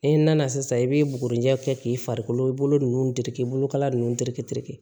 E nana sisan i bɛ bugurinjɛ kɛ k'i farikolo nunnu terikɛ bolokala ninnu terikɛ terikɛ